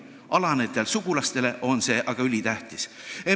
Alanejatele sugulastele on see aga ülitähtis.